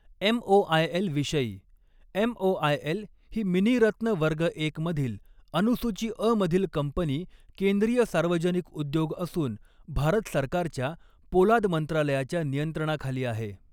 एमओआयएलविषयी, MOIL ही मिनीरत्न वर्ग एक मधील अनुसूची अ मधील कंपनी केंद्रीय सार्वजनिक उद्योग असून भारत सरकारच्या पोलाद मंत्रालयाच्या नियंत्रणाखाली आहे.